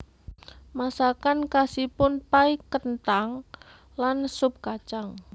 Masakan khasipun pai kenthang lan sup kacang